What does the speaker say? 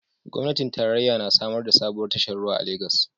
Gwamnatin tarayya na samar da sabuwar tashar ruwa a Legas